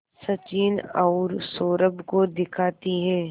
सचिन और सौरभ को दिखाती है